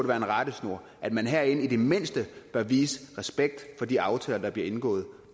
være en rettesnor at man herinde i det mindste viser respekt for de aftaler der bliver indgået